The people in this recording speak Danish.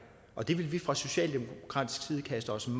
og det vil vi fra socialdemokratisk side kaste os ind